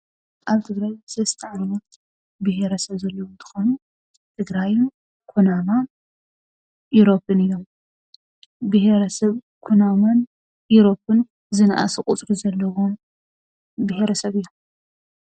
ኣብ ትግራይ ሰለስተ ዓይነት ብሄረሰብ ዘለዉ እንትኾኑ ትግራይን ኩናማ ፣ኢሮብን እዮም፡፡ ብሄረሰብ ኩናማን ኢሮብን ዝነኣሰ ቁፅሪ ዘለዎም ብሄረሰብ እዮም፡፡